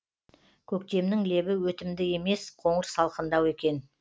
көктемнің лебі өтімді емес қоңыр салқындау екен